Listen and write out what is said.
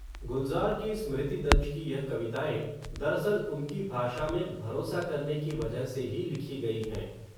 गुलज़ार की स्मृति दंश की यह कविताएँ, दरअसल, उनकी भाषा में, भरोसा करने की वजह से ही, लिखी गयी हैं